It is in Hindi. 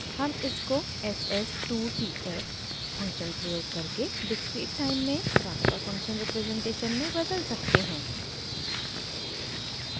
हम इसको s s 2 t f function प्रयोग करके डिस्क्रीट टाइम में ट्रांसफर फंक्शन रिप्रजेंटेशन में बदल सकते हैं